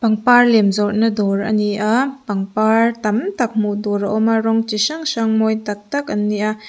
pangpar lem zawrhna dawr a ni a pangpar tam tak hmuh tur a awm a rawng chi hrang hrang mawi tak tak an ni a.